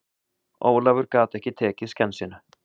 Ólafur gat ekki tekið skensinu.